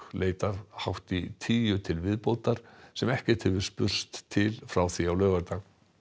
leitar hátt í tíu til viðbótar sem ekkert hefur spurst til frá því á laugardag